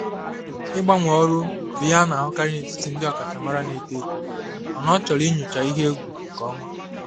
Ịgbanwe ọrụ bụ ihe a na-ahụkarị n'etiti ndị ọkachamara na-eto eto mana ọ chọrọ nyocha ihe egwu nke ọma.